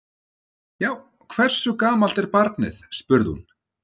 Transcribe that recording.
Já, hversu gamalt er barnið? spurði hún.